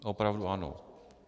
Opravdu ano.